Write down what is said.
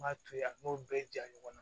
M'a to yen a n'o bɛɛ ja ɲɔgɔnna